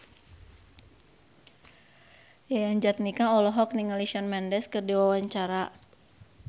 Yayan Jatnika olohok ningali Shawn Mendes keur diwawancara